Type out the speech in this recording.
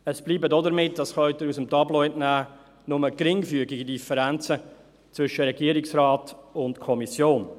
Es bleiben damit – dies können Sie dem Tableau entnehmen – nur geringfügige Differenzen zwischen Regierungsrat und Kommission.